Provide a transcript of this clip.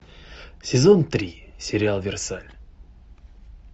сезон три сериал версаль